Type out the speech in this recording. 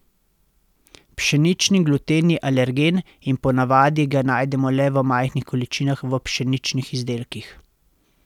Pšenični gluten je alergen in po navadi ga najdemo le v majhnih količinah v pšeničnih izdelkih.